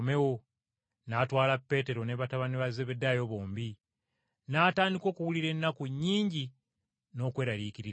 N’atwala Peetero ne batabani ba Zebbedaayo bombi, n’atandika, okuwulira ennaku nnyingi n’okweraliikirira ennyo.